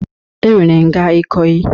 E nwere nga Ikoyi.